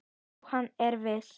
Já, hann er vís.